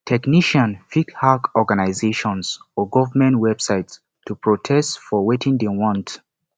technician fit hack organisations or government websites to protest for wetin dem want